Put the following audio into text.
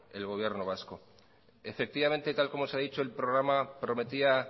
el gobierno vasco efectivamente tal como se ha dicho el programa prometía